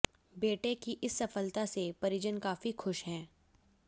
बेटे की इस सफलता से परिजन काफी खुश हैं